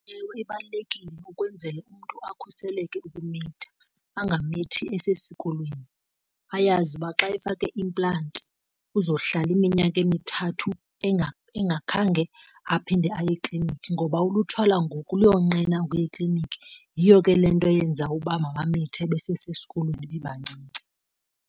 Ewe ibalulekile ukwenzele umntu akhuseleke ukumitha, angamithi esesikolweni. Ayazi uba xa efake i-implant uzohlala iminyaka emithathu engakhange aphinde aye ekliniki ngoba ulutsha lwangoku luyonqena ukuya ekliniki, yiyo ke le nto yenza uba mabamithe besesesikolweni bebancinci.